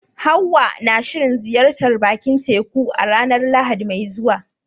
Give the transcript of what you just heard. Hawwa na shirin ziyartar bakin teku a ranar Lahadi mai zuwa.